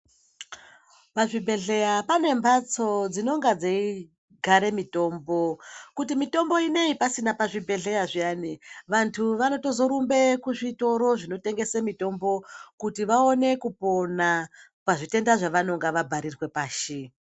Pazvi bhehleya pane mbatso dzinonga dzei gara mitombo kuti mitombo ineyi pasina pazvi bhehleya zviyani vandu vanotozo rumbe kuzvi toro zvinotengese mitombo kuti vaone kupona pazvi tenda zvavanonga va bharirwa pashi.